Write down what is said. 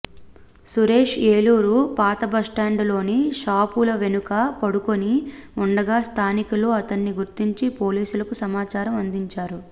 సురేష్ ఏలూరు పాతబస్టాండులోని షాపుల వెనుక పడుకొని ఉండగా స్థానికులు అతన్ని గుర్తించి పోలీసులకు సమాచారం అందించారు